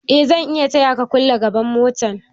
Eh zan iya taya ka kulle gaban motan